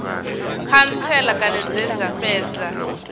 khantsela kana dze dza fhedza